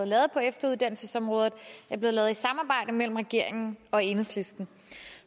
lavet på efteruddannelsesområdet er blevet lavet i et samarbejde mellem regeringen og enhedslisten